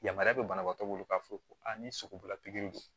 Yamaruya bɛ banabaatɔ bolo k'a fɔ ko ni sogola pikiri don